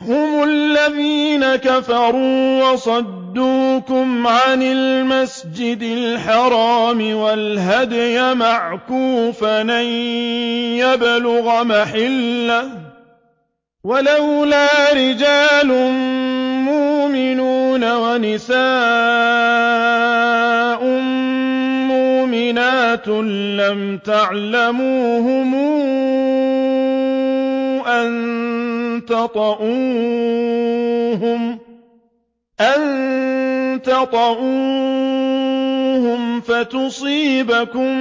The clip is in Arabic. هُمُ الَّذِينَ كَفَرُوا وَصَدُّوكُمْ عَنِ الْمَسْجِدِ الْحَرَامِ وَالْهَدْيَ مَعْكُوفًا أَن يَبْلُغَ مَحِلَّهُ ۚ وَلَوْلَا رِجَالٌ مُّؤْمِنُونَ وَنِسَاءٌ مُّؤْمِنَاتٌ لَّمْ تَعْلَمُوهُمْ أَن تَطَئُوهُمْ فَتُصِيبَكُم